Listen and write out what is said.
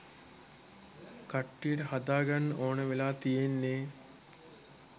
කට්ටියට හදාගන්න ඕනේ වෙලා තියෙන්නේ.